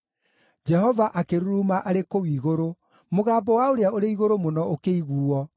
Jehova akĩruruma arĩ kũu igũrũ; mũgambo wa Ũrĩa-ũrĩ-Igũrũ-Mũno ũkĩiguuo.